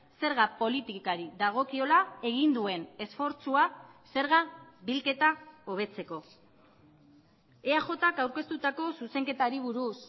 zerga politikari dagokiola egin duen esfortzua zerga bilketa hobetzeko eajk aurkeztutako zuzenketari buruz